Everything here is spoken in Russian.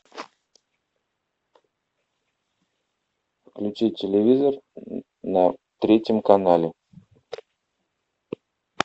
включи телевизор на третьем канале